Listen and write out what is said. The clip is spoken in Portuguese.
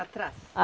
Atrás?